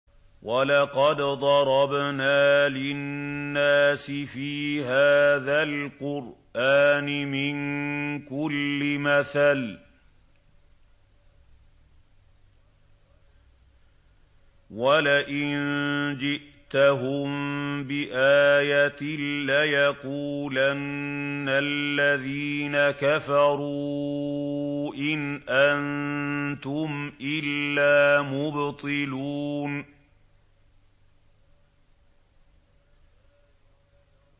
وَلَقَدْ ضَرَبْنَا لِلنَّاسِ فِي هَٰذَا الْقُرْآنِ مِن كُلِّ مَثَلٍ ۚ وَلَئِن جِئْتَهُم بِآيَةٍ لَّيَقُولَنَّ الَّذِينَ كَفَرُوا إِنْ أَنتُمْ إِلَّا مُبْطِلُونَ